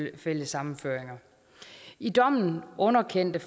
ægtefællesammenføringer i dommen underkendte